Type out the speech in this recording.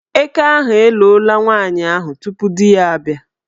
Eke ahụ eloola nwaanyị ahụ tupu di ya abịa.